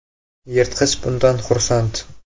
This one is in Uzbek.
Yirtqich bundan xursand .